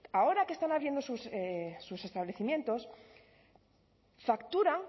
ahora que están abriendo sus establecimientos facturan